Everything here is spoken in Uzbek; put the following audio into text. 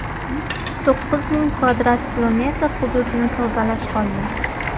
To‘qqiz ming kvadrat kilometr hududni tozalash qolgan.